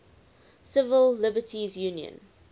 civil liberties union